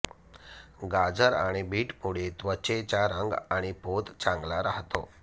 गाजर आणि बीटमुळे त्वचेचा रंग आणि पोत चांगला राहतो